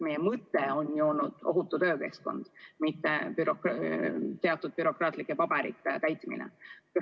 Meie mõte on ju olnud ohutu töökeskkond, mitte teatud bürokraatlike paberite täitmine.